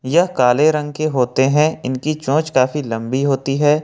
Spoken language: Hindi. यह काले रंग के होते हैं इनकी सोच काफी लंबी होती है।